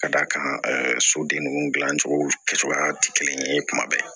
Ka d'a kan ɛ sodenw dilan cogo kɛcogoya tɛ kelen ye kuma bɛɛ